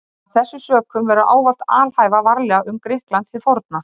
Af þessum sökum verður ávallt að alhæfa varlega um Grikkland hið forna.